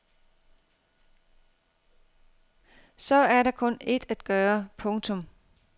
Så er der kun ét at gøre. punktum